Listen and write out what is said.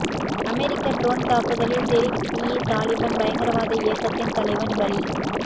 அமெரிக்க drone தாக்குதலில் தெரிக் இ தாலிபன் பயங்கரவாத இயக்கத்தின் தலைவன் பலி